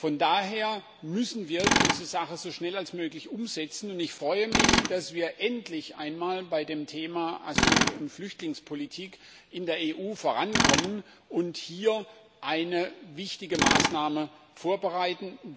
Von daher müssen wir diese Sache so schnell wie möglich umsetzen, und ich freue mich, dass wir endlich einmal bei dem Thema Asyl und Flüchtlingspolitik in der EU vorankommen und hier eine wichtige Maßnahme vorbereiten.